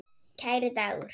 Kæri Dagur.